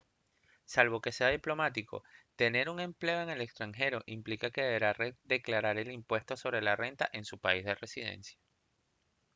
salvo que sea diplomático tener un empleo en el extranjero implica que deberá declarar el impuesto sobre la renta en su país de residencia